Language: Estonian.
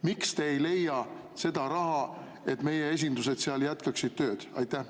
Miks te ei leia seda raha, et meie esindused seal jätkaksid tööd?